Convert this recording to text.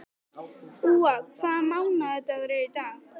Úa, hvaða mánaðardagur er í dag?